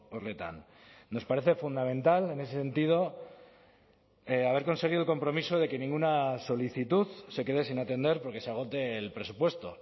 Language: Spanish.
horretan nos parece fundamental en ese sentido haber conseguido el compromiso de que ninguna solicitud se quede sin atender porque se agote el presupuesto